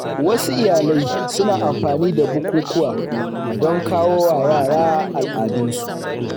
Wasu iyalai suna amfani da bukukuwa don koyawa yara al’adunsu.